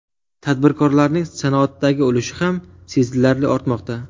Tadbirkorlarning sanoatdagi ulushi ham sezilarli ortmoqda.